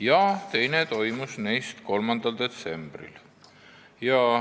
ja teine 3. detsembril.